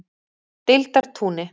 Deildartúni